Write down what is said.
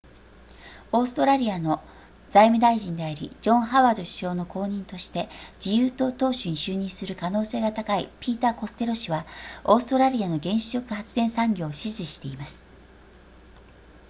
オーストラリアの財務大臣でありジョンハワード首相の後任として自由党党首に就任する可能性が高いピーターコステロ氏はオーストラリアの原子力発電産業を支持しています